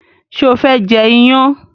ṣe o fé jê iyán?